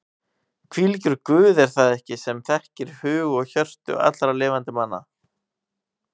Hvílíkur Guð er það ekki sem þekkir hug og hjörtu allra lifandi manna?